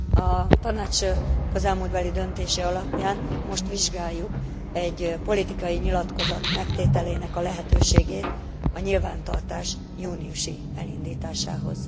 A Tanács közelmúltbeli döntése alapján most vizsgáljuk egy politikai nyilatkozat megtételének a lehetőségét a nyilvántartás júniusi elindításához.